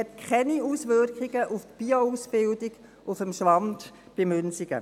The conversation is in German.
Sie hat keine Auswirkungen auf die Bioausbildung auf dem Schwand bei Münsingen.